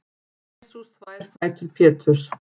Jesús þvær fætur Péturs.